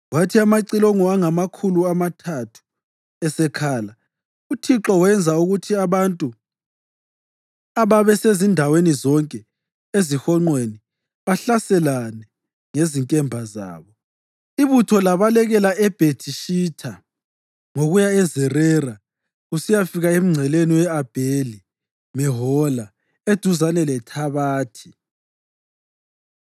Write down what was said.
Kwathi amacilongo angamakhulu amathathu esekhala, uThixo wenza ukuthi abantu ababesezindaweni zonke ezihonqweni bahlaselane ngezinkemba zabo. Ibutho labalekela eBhethi-Shitha ngokuya eZerera kusiyafika emngceleni we-Abheli-Mehola eduzane leThabathi.